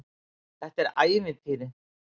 Þetta er ævintýri.